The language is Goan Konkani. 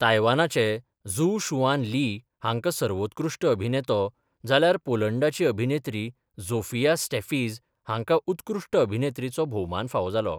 तायवानाचे झु शुआन ली हांकां सर्वोत्कृष्ट अभिनेतो, जाल्यार पोलंडाची अभिनेत्री झोफिया स्टॅफिज हांकां उत्कृश्ट अभिनेत्रीचो भोवमान फावो जालो.